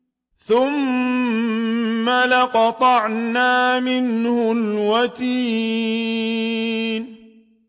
ثُمَّ لَقَطَعْنَا مِنْهُ الْوَتِينَ